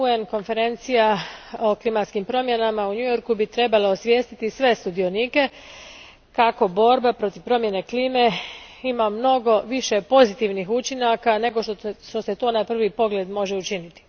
Konferencija UN a o klimatskim promjenama u New Yorku trebala bi osvijestiti sve sudionike kako borba protiv promjene klima ima mnogo više pozitivnih učinaka nego što se to na prvi pogled može učiniti.